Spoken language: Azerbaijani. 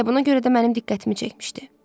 Elə buna görə də mənim diqqətimi çəkmişdi.